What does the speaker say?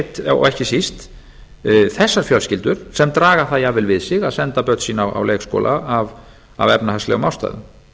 einmitt og ekki síst þessar fjölskyldur sem draga það jafnvel við sig að senda börn sín á leikskóla af efnahagslegum ástæðum